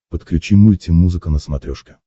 подключи мультимузыка на смотрешке